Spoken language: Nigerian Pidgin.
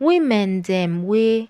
women dem wey